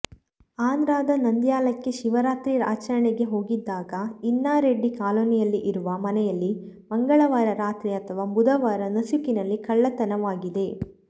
ಆಂಧ್ರದ ನಂದ್ಯಾಲಕ್ಕೆ ಶಿವರಾತ್ರಿ ಆಚರಣೆಗೆ ಹೋಗಿದ್ದಾಗ ಇನ್ನಾರೆಡ್ಡಿ ಕಾಲೊನಿಯಲ್ಲಿ ಇರುವ ಮನೆಯಲ್ಲಿ ಮಂಗಳವಾರ ರಾತ್ರಿ ಅಥವಾ ಬುಧವಾರ ನಸುಕಿನಲ್ಲಿ ಕಳ್ಳತನವಾಗಿದೆ